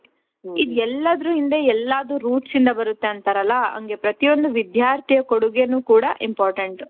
ಇದು ಎಲ್ಲಾದ್ರು ಹಿಂದೆ ಎಲ್ಲಾದು routes ಇಂದ ಬರುತ್ತೆ ಅಂತಾರಲ ಹಂಗೆ ಪ್ರತಿ ಒಂದು ವಿಧ್ಯಾರ್ಥಿಯ ಕೊಡುಗೆನು ಕೂಡ important.